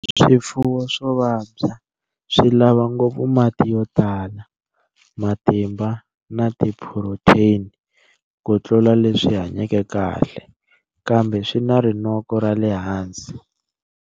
Swifuwo swo vabya swi lava ngopfu mati yo tala, matimba na tiphurotheni ku tlula leswi hanyeke kahle, kambe swi na rinoko ra le hansi.